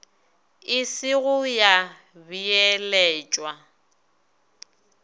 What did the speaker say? e se go ya beeletšwa